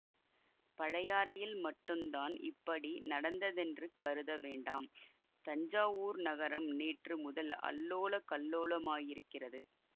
பழையாறையில் மட்டுந்தான் இப்படி நடந்ததென்று கருத வேண்டாம் தஞ்சாவூர் நகரம் நேற்று முதல் அல்லோலகல்லோலமாயிருக்கிறது